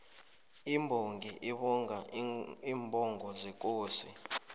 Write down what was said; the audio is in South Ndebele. imbongi ibonga iimbongo zekosi